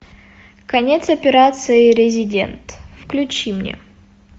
конец операции резидент включи мне